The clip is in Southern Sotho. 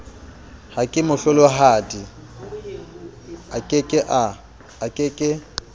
ha kemohlolohadi a ke ke